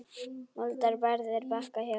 Moldar barð er Bakka hjá.